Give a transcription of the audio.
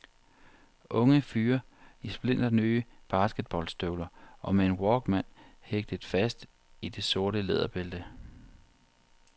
Unge fyre i splinternye basketstøvler og med en walkman hægtet fast i det sorte læderbælte.